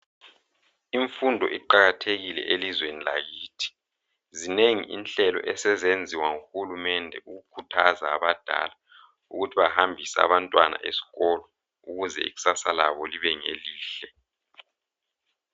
Imfundo iqakathekile elizweni lakithi, zinengi inhlelo esezenziwa nguhulumende ukukhuthaza abadala ukuthi bahambise Abantwana esikolo ukuze ikusasa labo libe ngelihle